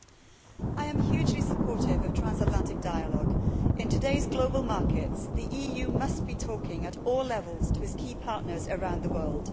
Madam President, I am hugely supportive of transatlantic dialogue. In today's global markets, the EU must be talking at all levels to its key partners around the world.